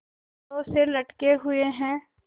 छड़ों से लटके हुए हैं